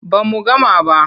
Ba mu gama ba.